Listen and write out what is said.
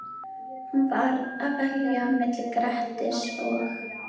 Hún varð að velja milli Grettis og